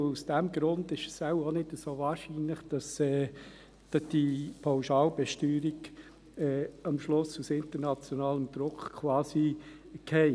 Aus diesem Grund ist es wohl auch nicht so wahrscheinlich, dass die Pauschalbesteuerung am Schluss quasi auf internationalen Druck hin fällt.